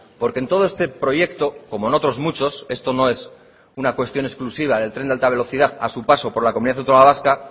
porque en todo este proyecto como en otros muchos esto no es una cuestión exclusiva del tren de alta velocidad a su paso por la comunidad autónoma vasca